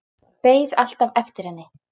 Beið alltaf eftir henni.